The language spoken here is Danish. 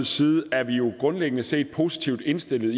side er vi jo grundlæggende set positivt indstillet